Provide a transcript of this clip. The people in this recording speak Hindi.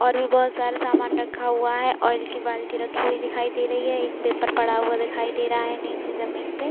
और भी बहुत सारा सामान रखा हुआ है। आयल की बाल्टी रखी हुई दिखाई दे रही है | एक पेपर पड़ा हुआ दिखाई दे रहा है। नीचे जमीन पे --